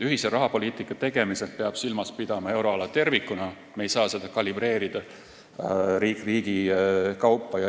Ühise rahapoliitika tegemisel peab silmas pidama euroala tervikuna, me ei saa seda kalibreerida riigi kaupa.